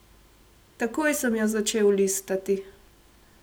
Takoj sem jo začel listati.